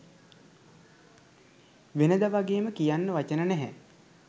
වෙනද වගේම කියන්න වචන නැහැ